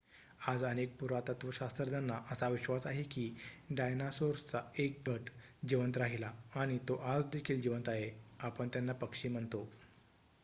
आज अनेक पुरातत्वशास्त्रज्ञांना असा विश्वास आहे की डायनासोर्सचा 1 गट जिवंत राहिला आणि तो आज देखील जिवंत आहे आपण त्यांना पक्षी म्हणतो